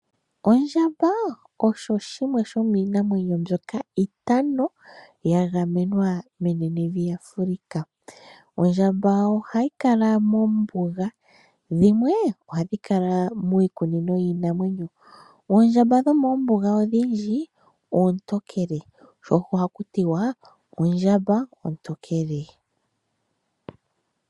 Ondjamba osho shimwe shomiinamwenyo mbyoka itano ya gamenwa menenevi Afrika. Oondjamba ohayi kala mombuga dhimwe ohadhi kala miikunino yiinamwenyo. Oondjamba dhomoombuga odhindji oontokele sho osho haku tiwa ondjamba ontokele.